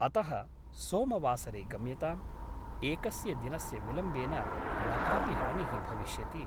अतः सोमवासरे गम्यताम् । एकस्य दिनस्य विलम्बेन न कापि हानिः भविष्यति ।